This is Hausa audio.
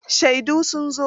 Shaidun sun zo